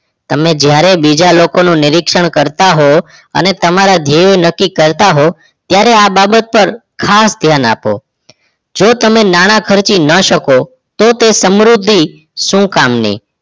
તમે જ્યારે બીજા લોકોનું નિરીક્ષણ કરતા હોવ અને તમારા ધ્યય નક્કી કરતા હોવ ત્યારે આ બાબત પર ખાસ ધ્યાન આપો જો તમે નાણાં ખર્ચી ના શકો તો એ સમૃદ્ધિ શું કામ ની